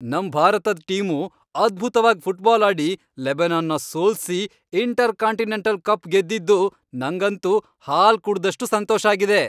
ನಮ್ ಭಾರತದ್ ಟೀಮು ಅದ್ಭುತ್ವಾಗ್ ಫುಟ್ಬಾಲ್ ಆಡಿ ಲೆಬನಾನ್ನ ಸೋಲ್ಸಿ ಇಂಟರ್ಕಾಂಟಿನೆಂಟಲ್ ಕಪ್ ಗೆದ್ದಿದ್ದು ನಂಗಂತೂ ಹಾಲ್ ಕುಡ್ದಷ್ಟ್ ಸಂತೋಷ ಆಗಿದೆ.